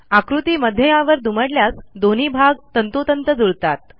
आकृती मध्यावर दुमडल्यास दोन्ही भाग तंतोतंत जुळतात